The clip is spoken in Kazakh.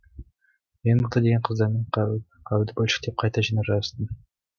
ең мықты деген қыздармен қаруды бөлшектеп қайта жинап жарыстым